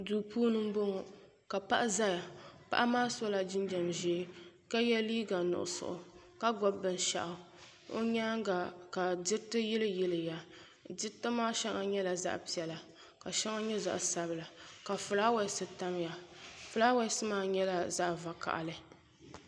Duu puuni n boŋo ka paɣa ʒɛya paɣa maa sola jinjɛm ʒiɛ ka yɛ liiga nuɣso ka gbubi binshaɣu o nyaanga ka diriti yili yiliya diriti maa shɛŋa nyɛla zaɣ piɛlli ka shɛŋa nyɛ zaɣ sabila ka fulaawaasi tamya fulaawaasi maa nyɛla zaɣ vakaɣali